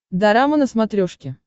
дорама на смотрешке